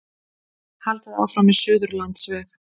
Haldið áfram með Suðurlandsveg